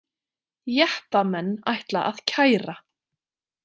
Jeppamenn ætla að kæra